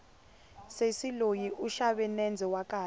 sesi loyi u xave nendze wa kahle